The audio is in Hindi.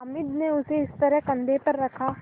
हामिद ने उसे इस तरह कंधे पर रखा